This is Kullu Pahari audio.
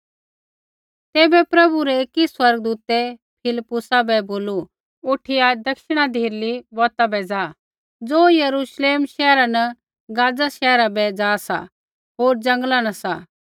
तैबै प्रभु रै एकी स्वर्गदूतै फिलिप्पुसा बै बोलू उठिया दक्षिणा धिरली बौता पैंधै ज़ा ज़ो यरूश्लेम शैहरा न गाज़ा शैहरा बै ज़ा सा होर जंगल न सा